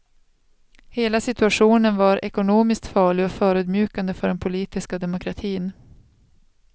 Hela situationen var ekonomiskt farlig och förödmjukande för den politiska demokratin.